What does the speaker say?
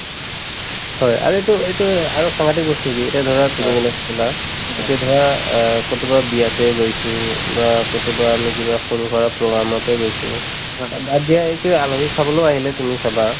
হয় আৰু এইটো এইটোয়ে আৰু সাংঘাটিক বস্তু কি এতিয়া ধৰা তুমি যেনেকে কলা এতিয়া ধৰা অ কৰবাত বিয়াতে গৈছো বা কৰবাত আমি সৰুসুৰা program তে গৈছো বাদ দিয়া এই কিবা আলহী খাবলৈ আহিলে তুমি চাবা